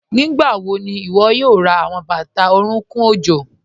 Nígbàwọ̀ ní iwó̩ yóò rá àwọn bátà orùnkùn ọ̀jọ̀?